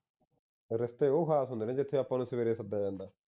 ਰਿਸ਼ਤੇ ਉਹ ਖਾਸ ਹੁੰਦੇ ਨੇ ਜਿਥੇ ਆਪਾ ਨੂੰ ਸਵੇਰੇ ਸੱਦਿਆ ਜਾਂਦਾ